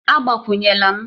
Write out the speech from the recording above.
Agbakwunyela m!